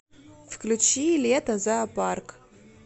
включи лето зоопарк